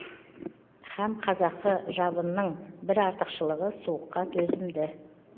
һәм қазақы жабының бір артықшылығы суыққа төзімді